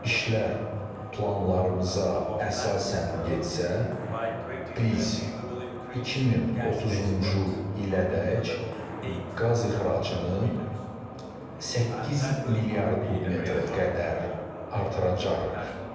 İşlər planlarımıza əsasən getsə, biz 2030-cu ilədək qaz ixracını 8 milyard kubmetrə qədər artıracağıq.